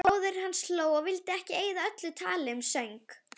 Bróðir hans hló og vildi eyða öllu tali um söng.